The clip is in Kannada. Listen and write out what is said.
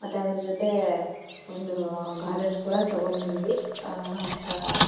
ಮತ್ತೆ ಆದ್ರ ಜೊತೆ ಒಂದು ಗೋಡ್ರೆಜ್ ಕೂಡ ತಕೋಬಂದ್ವಿ.